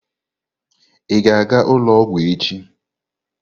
Ị ga-aga ụlọ ọgwụ echi?